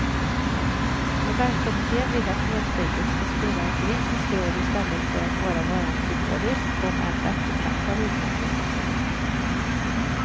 Nobelkommittén vill att fredspriset ska spela en politisk roll i stället för att bara vara en symbolisk om än eftertraktad utmärkelse.